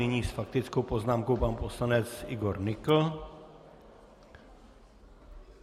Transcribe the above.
Nyní s faktickou poznámkou pan poslanec Igor Nykl.